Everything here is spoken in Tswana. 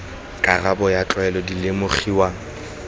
karabo ya tlwaelo di lemogiwa